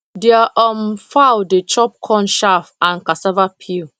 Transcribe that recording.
their um fowl dey chop corn chaff and cassava peel